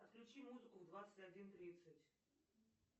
отключи музыку в двадцать один тридцать